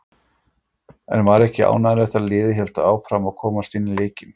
En var ekki ánægjulegt að liðið hélt áfram og komst inn í leikinn?